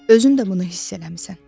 Özün də bunu hiss eləmisən.